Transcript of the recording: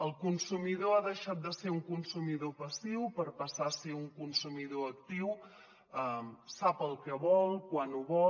el consumidor ha deixat de ser un consumidor passiu per passar a ser un consu·midor actiu sap el que vol quan ho vol